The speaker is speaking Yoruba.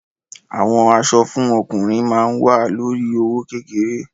Àwọn aṣọ fún ọkùnrin ma wa lórí i owó kékeré.